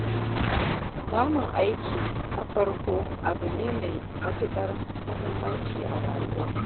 Samun aiki na farko abu ne mai matuƙar muhimmanci a rayuwa.